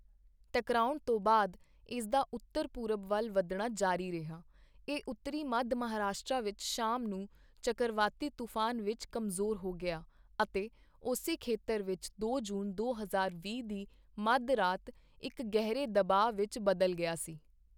ਟਕਰਾਉਣ ਤੋਂ ਬਾਅਦ ਇਸਦਾ ਉੱਤਰ ਪੂਰਬ ਵੱਲ ਵਧਣਾ ਜਾਰੀ ਰਿਹਾ, ਇਹ ਉੱਤਰੀ ਮੱਧ ਮਹਾਰਾਸ਼ਟਰ ਵਿੱਚ ਸ਼ਾਮ ਨੂੰ ਚੱਕਰਵਾਤੀ ਤੂਫਾਨ ਵਿੱਚ ਕਮਜ਼ੋਰ ਹੋ ਗਿਆ ਅਤੇ ਉਸੀ ਖੇਤਰ ਵਿੱਚ ਦੋ ਜੂਨ, ਦੋ ਹਜ਼ਾਰ ਵੀਹ ਦੀ ਮੱਧ ਰਾਤ ਇੱਕ ਗਹਿਰੇ ਦਬਾਅ ਵਿੱਚ ਬਦਲ ਗਿਆ ਸੀ।